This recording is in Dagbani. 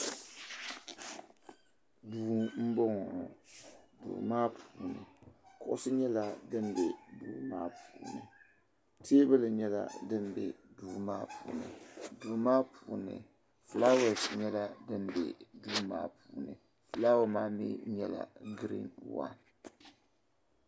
Duu m boŋɔ duu maa puuni kuɣusi nyɛla din be duu maa puuni teebuli nyɛla din be duu maa puuni duu maa puuni filaawaasi nyɛla din be duu maa puuni filaawa maa mɛɛ nyɛla din nyɛ girin wan.